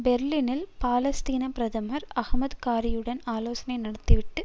பெர்லினில் பாலஸ்தீன பிரதமர் அஹமது காரியுடன் ஆலோசனை நடத்தி விட்டு